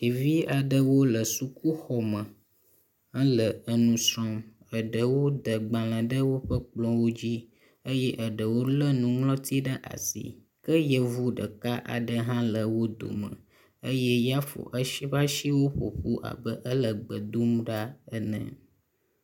Ɖevi aɖewo le sukuxɔme hele enu srɔ̃m. eɖewo de agbale le woƒe kplɔwo dzi eye eɖewo le nuŋlɔti ɖe asi ke yevu ɖeka aɖe hã le wo dome eye ya fo esi eƒe asinu ƒoƒu abe ya le gbedom ɖa ene.